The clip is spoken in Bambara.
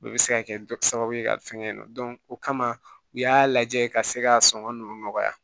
O bɛ se ka kɛ sababu ye ka fɛngɛ in nɔ o kama u y'a lajɛ ka se ka sɔngɔn ninnu nɔgɔya